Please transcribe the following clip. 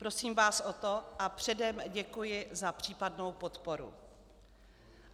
Prosím vás o to a předem děkuji za případnou podporu.